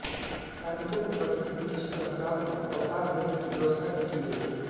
कार्मिकों को प्रतिदिन निश्चित अन्तराल पर अवकाश देने की व्यवस्था भी की गई है